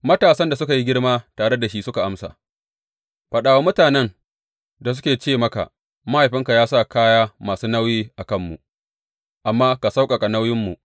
Matasan da suka yi girma tare shi suka amsa, Faɗa wa mutanen da suke ce maka, Mahaifinka ya sa kaya masu nauyi a kanmu, amma ka sauƙaƙa nauyinmu.’